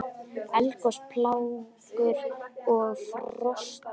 Eldgos, plágur og frosta